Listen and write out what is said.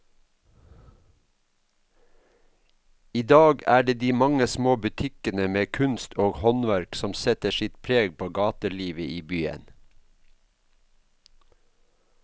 I dag er det de mange små butikkene med kunst og håndverk som setter sitt preg på gatelivet i byen.